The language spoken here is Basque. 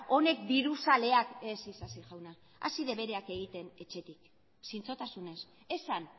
honek diruzaleak ez isasi jauna hasi debereak egiten etxetik zintzotasunez esan